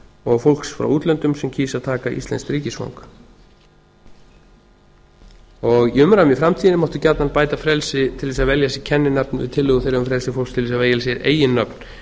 og fólks frá útlöndum sem kýs að taka íslenskt ríkisfang í framtíðinni máttu gjarnan bæta frelsi til þess að velja sér kenninafn við tillögu um frelsi fólks til þess að velja sér eiginnöfn